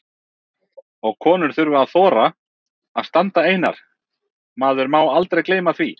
Og konur þurfa að þora að standa einar, maður má aldrei gleyma því!